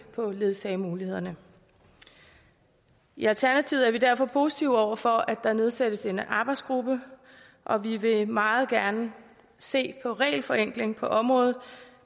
på ledsagemulighederne i alternativet er vi derfor positive over for at der nedsættes en arbejdsgruppe og vi vil meget gerne se på regelforenkling på området